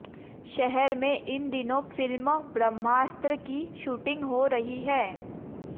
शहर में इन दिनों फ़िल्म ब्रह्मास्त्र की शूटिंग हो रही है